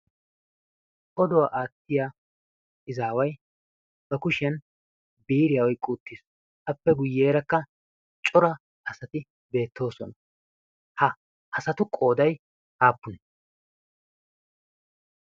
oduwaa aattiya izaawai ba kushiyan biiriyaa oiqquttiis. appe guyyeerakka cora asati beettoosona. ha asatu qoodai haappune?